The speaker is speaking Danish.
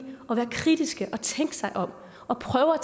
at være kritiske og tænke sig om og prøve at